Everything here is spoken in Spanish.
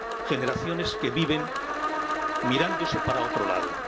generaciones que viven mirándose para otro lado.